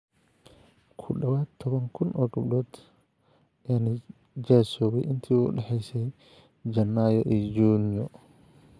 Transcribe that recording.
Ku dhawaad ​​toban kun oo gabdhood ayaa nijaasoobay intii u dhaxaysay Jannaayo iyo Juunyo.